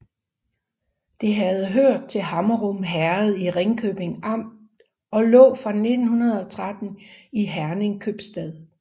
Det havde hørt til Hammerum Herred i Ringkøbing Amt og lå fra 1913 i Herning Købstad